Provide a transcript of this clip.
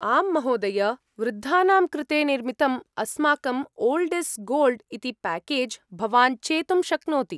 आम्महोदय! वृद्धानां कृते निर्मितम् अस्माकं ओल्ड् ईस् गोल्ड् इति प्याकेज् भवान् चेतुं शक्नोति।